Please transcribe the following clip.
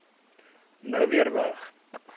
nou weer weg